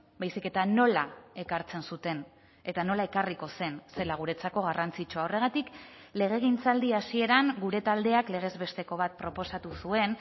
baizik eta nola ekartzen zuten eta nola ekarriko zen zela guretzako garrantzitsua horregatik legegintzaldi hasieran gure taldeak legez besteko bat proposatu zuen